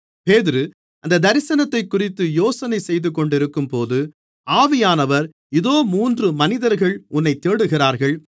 பேதுரு அந்தத் தரிசனத்தைக்குறித்து யோசனை செய்துகொண்டிருக்கும்போது ஆவியானவர் இதோ மூன்று மனிதர்கள் உன்னைத் தேடுகிறார்கள்